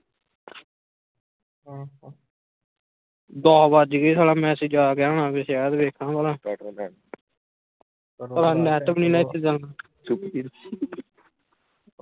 ਦਸ ਵੱਜ ਗਏ ਸਾਲਾmessage ਆਗਿਆ ਹੋਣਾ ਕੇ ਸ਼ਾਇਦ ਭਲਾ ਸਾਲਾ ਨੈਟ ਵੀ ਨਹੀਂ ਨਾ ਇਥੇ ਚਲਦਾ